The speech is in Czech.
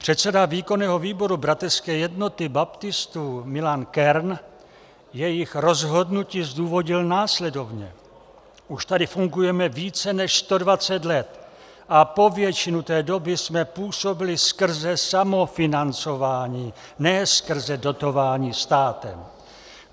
Předseda výkonného výboru Bratrské jednoty baptistů Milan Kern jejich rozhodnutí zdůvodnil následovně: Už tady fungujeme více než 120 let a po většinu té doby jsme působili skrze samofinancování, ne skrze dotování státem.